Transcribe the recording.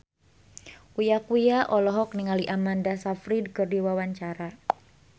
Uya Kuya olohok ningali Amanda Sayfried keur diwawancara